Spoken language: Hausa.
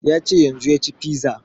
Ya ce yanzun ya ci fiza